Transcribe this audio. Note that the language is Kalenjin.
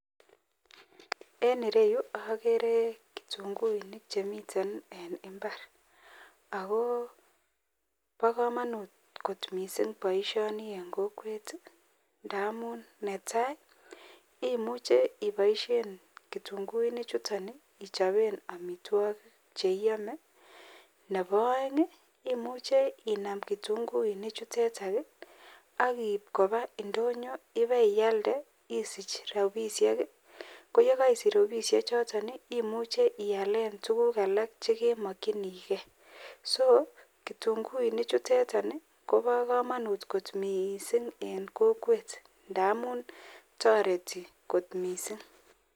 En ireyu akere kitunguik Chemiten en imbar ako ba kamanut kot mising baishoni en kokwet ntamun netai imuche ibaishen kitunguik chuton ichapen amitwagik cheiyome AK Nebo aeng imuche Inam kitunguik chuteton AK koip Koba indonyo iba iyalde isich rabishek ako yekaisich rabinik choton imuche iyalen tuguk alak chekimakingei AK kitunguik chuteton Koba kamanut kot mising en kokwet ntamun tareti kot mising